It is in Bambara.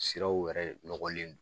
Siraw yɛrɛ nɔgɔlen do.